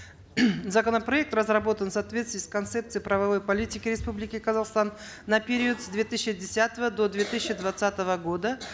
законопроект разработан в соответствии с концепцией правовой политики республики казахстан на период с две тысячи десятого до две тысячи двадцатого года